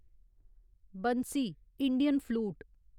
Bansi Indian flute